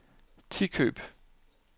Tikøb